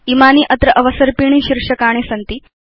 इमानि अत्र अवसर्पिणी शीर्षकाणि सन्ति